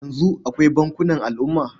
Yanzu akwai bankunan al'umma.